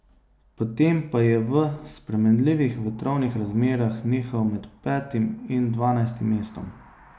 Potem pa je v spremenljivih vetrovnih razmerah nihal med petim in dvanajstim mestom.